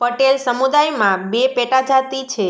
પટેલ સમુદાયમાં બે પેટાજાતિ છે